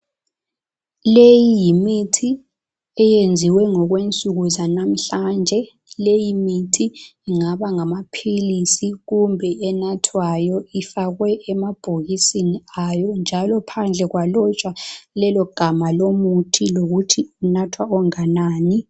Leyi yimithi eyenziwe ngokwensuku zanamhlanje leyi mithi ingaba ngamaphilisi kumbe enathwayo efakwe emabhokisini ayo njalo phandle kwalotshwa lelogama lomuthi lokuthi unathwa onganani.